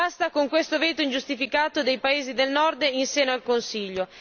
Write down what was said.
Basta con questo veto ingiustificato dei paesi del Nord in seno al Consiglio.